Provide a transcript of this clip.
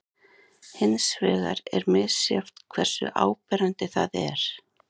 Hins vegar er misjafnt hversu áberandi það er.